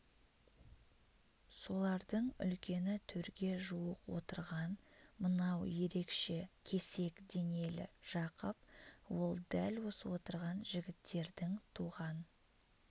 солардың үлкені төрге жуық отырған мынау ерекше кесек денелі жақып ол дәл осы отырған жігіттердің туған